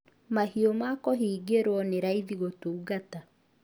Mahiũ ma kũhingĩrwo nĩ raithi gũtungata